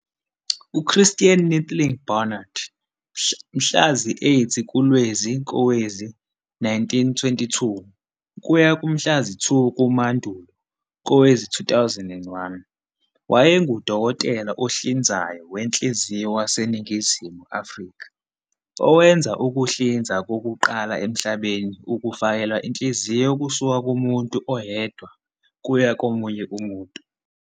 UChristiaan Neethling Barnard, Mhlazi-8 kuLwezi kowezi-1922 kuya kumhlazi-2 kuMandulo kowezi- 2001, wayenguDokotela ohlinzayo wenhliziyo waseNingizimu Afrika owenza ukuhlinzwa kokuqala emhlabeni ukufakelwa inhliziyo kusuka kumuntu oyedwa kuya komunye umuntu.